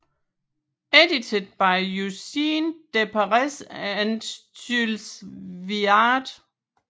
Edited by Eugene Deprez and Jules Viard